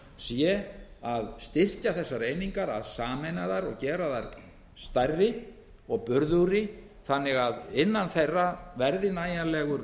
sé að styrkja þessar einingar að sameina þær og gera þær stærri og burðugri þannig að innan þeirra verði nægjanlegur